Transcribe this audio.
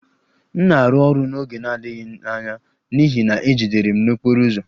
M na-arụ ọrụ n'oge na-adịghị anya n'ihi na e jidere m n'okporo ụzọ